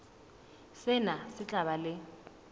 sena se tla ba le